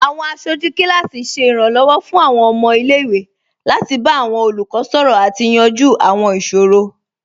Awọn aṣọju kilasi ṣẹ iranlọwọ fun awọn ọmọ ilẹ̀-iwe lati ba awọn olukọ sọrọ ati yanju awọn iṣoro